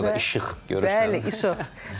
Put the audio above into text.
Orda da işıq görürsən, bəli, işıq.